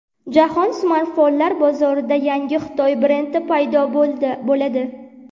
Jahon smartfonlar bozorida yangi Xitoy brendi paydo bo‘ladi.